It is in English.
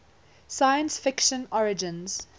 science fiction origins